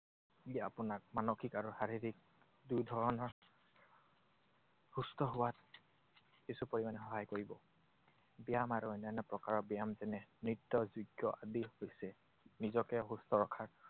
ই আপোনাক মানসিক আৰু শাৰীৰিক দুই ধৰণৰ সুস্থ হোৱাত কিছু পৰিমাণে সহায় কৰিব। ব্যায়াম আৰু অন্যান্য প্ৰকাৰৰ ব্যায়াম যেনে নৃত্য, যোগ্য আদি হৈছে নিজকে সুস্থ ৰখাৰ